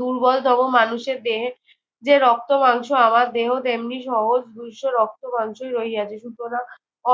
দুর্বলতম মানুষের দেহের যে রক্তমাংস আমার দেহ তেমনি সহজ দুইশো রক্তমাংসই রহিয়াছে। সুতরাং